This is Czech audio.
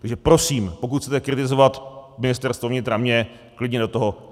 Takže prosím, pokud chcete kritizovat Ministerstvo vnitra, mě, klidně do toho.